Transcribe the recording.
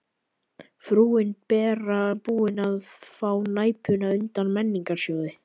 Frúin Bera búin að fá Næpuna undan Menningarsjóði.